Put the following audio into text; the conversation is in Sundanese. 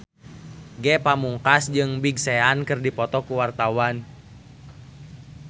Ge Pamungkas jeung Big Sean keur dipoto ku wartawan